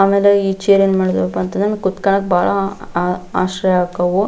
ಆಮೇಲೆ ಈ ಚೇರ್ ಏನ್ ಮಾಡ್ವವಪ್ಪ ಅಂತಂದ್ರ ಕುತ್ಕೊಳ್ಳೋಕ ಬಹಳ ಆಶ್ರಯ ಅಕ್ಕವು.